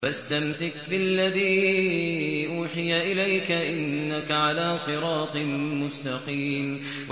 فَاسْتَمْسِكْ بِالَّذِي أُوحِيَ إِلَيْكَ ۖ إِنَّكَ عَلَىٰ صِرَاطٍ مُّسْتَقِيمٍ